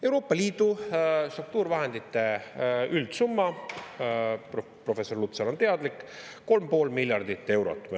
Euroopa Liidu struktuurivahendite üldsumma, professor Lutsar on teadlik, on 3,5 miljardit eurot.